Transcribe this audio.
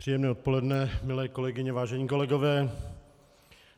Příjemné odpoledne, milé kolegyně, vážení kolegové.